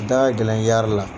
A da ka gɛlɛn yari la.